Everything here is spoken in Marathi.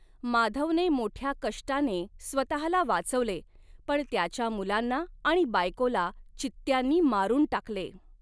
माधवने मोठ्या कष्टाने स्वतःला वाचवले पण त्याच्या मुलांना आणि बायकोला चित्त्यांनी मारुन टाकले.